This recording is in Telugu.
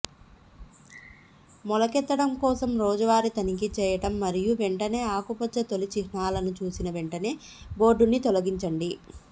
మొలకెత్తడం కోసం రోజువారీ తనిఖీ చేయండి మరియు వెంటనే ఆకుపచ్చ తొలి చిహ్నాలను చూసిన వెంటనే బోర్డుని తొలగించండి